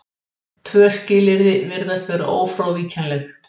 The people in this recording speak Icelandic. Tvö skilyrði virðast vera ófrávíkjanleg.